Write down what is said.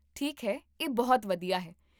ਠੀਕ ਹੈ, ਇਹ ਬਹੁਤ ਵਧੀਆ ਹੈ